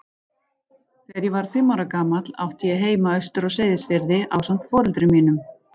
Þegar ég var fimm ára gamall átti ég heima austur á Seyðisfirði ásamt foreldrum mínum.